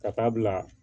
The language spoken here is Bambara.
Ka taa bila